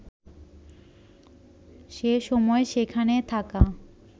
সে সময় সেখানে থাকা